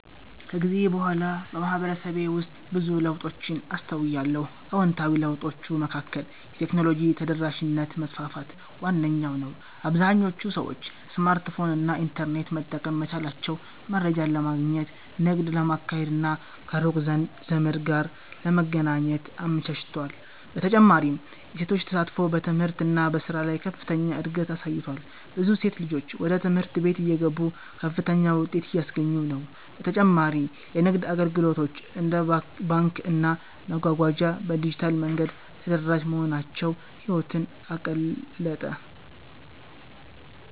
ከጊዜ በኋላ በማህበረሰቤ ውስጥ ብዙ ለውጦችን አስተውያለሁ። አዎንታዊ ለውጦቹ መካከል የቴክኖሎጂ ተደራሽነት መስፋፋት ዋነኛው ነው - አብዛኞቹ ሰዎች ስማርትፎን እና ኢንተርኔት መጠቀም መቻላቸው መረጃን ለማግኘት፣ ንግድ ለማካሄድ እና ከሩቅ ዘመድ ጋር ለመገናኘት አመቻችቷል። በተጨማሪም የሴቶች ተሳትፎ በትምህርት እና በሥራ ላይ ከፍተኛ እድገት አሳይቷል፤ ብዙ ሴት ልጆች ወደ ትምህርት ቤት እየገቡ ከፍተኛ ውጤት እያስገኙ ነው። በተጨማሪ የንግድ አገልግሎቶች እንደ ባንክና መጓጓዣ በዲጂታል መንገድ ተደራሽ መሆናቸው ህይወትን አቀለጠ።